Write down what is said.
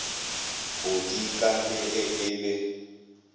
bodika le ge e le